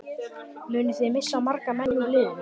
Munið þið missa marga menn úr liðinu?